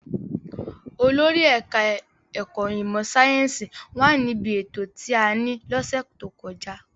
Olórí ẹ̀ka-ẹ̀kọ́ ìmọ̀-sáyẹ́ńsì wà níbí ètò tí a ní lọ́sẹ̀ tó kọjá.